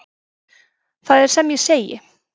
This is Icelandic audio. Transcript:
Það er sem ég segi.